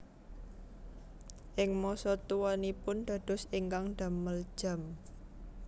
Ing masa tuanipun dados ingkang damel jam